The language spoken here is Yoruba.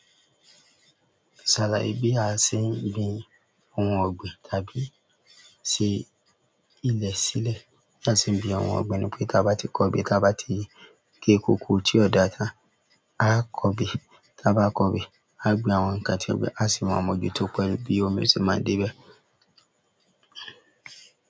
Sàlàyé bí a ṣe ń gbin ohun ọ̀gbìn tàbí ṣe ilẹ̀ sílẹ̀. Bí a ṣe ń gbin àwọn ohun ọ̀gbìn ni pé táa bá ti kọbè, táa bá ti gé kóko tí ó dáa tán a kọbè, táa bá kọbè, a gbin àwọn ǹkan tí ọ̀gbìn á sì máa mójú tó pẹ́ bí omi ṣe máa dé bá.